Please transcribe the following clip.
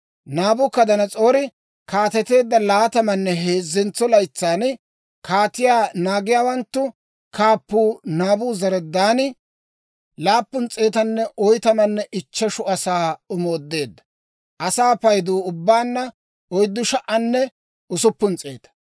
Naabukadanas'oori kaateteedda laatamanne heezzentso laytsan kaatiyaa naagiyaawanttu kaappuu Naabuzaradaani laappun s'eetanne oytamanne ichcheshu asaa omoodeedda. Asaa payduu ubbaanna oyddu sha"anne usuppun s'eeta.